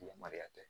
Yamaruya tɛ